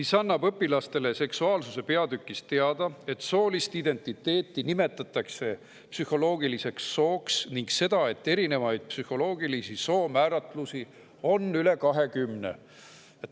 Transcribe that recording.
See annab õpilastele seksuaalsuse peatükis teada seda, et soolist identiteeti nimetatakse psühholoogiliseks sooks, ning seda, et erinevaid psühholoogilisi soomääratlusi on üle 20.